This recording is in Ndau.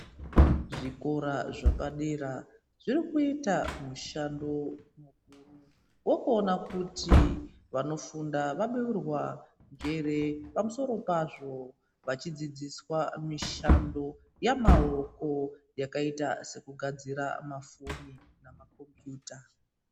Zvikora zvapadera zvirikuita mushando mukuri vokuona kuti vanofunda vabeurwa njere. Pamusoro pazvo vachidzidziswa mishando yamaoko yakaita sekugadzira mafoni namakombiyuta.